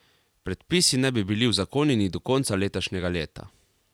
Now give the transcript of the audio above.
Predpisi naj bi bili uzakonjeni do konca letošnjega leta.